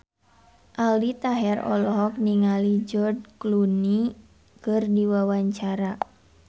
Aldi Taher olohok ningali George Clooney keur diwawancara